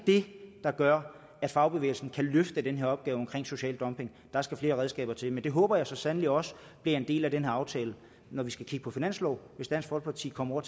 det der gør at fagbevægelsen kan løfte den her opgave social dumping der skal flere redskaber til men det håber jeg så sandelig også bliver en del af den her aftale når vi skal kigge på finanslov hvis dansk folkeparti kommer